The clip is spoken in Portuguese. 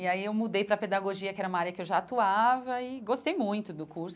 E aí eu mudei para a pedagogia, que era uma área que eu já atuava, e gostei muito do curso.